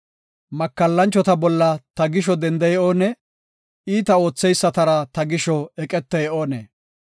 Makallanchota bolla ta gisho dendey oonee? Iita ootheysatara ta gisho eqetey oonee?